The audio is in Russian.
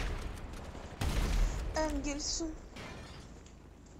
энгельсу